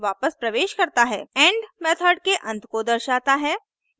and end method के अंत को दर्शाता है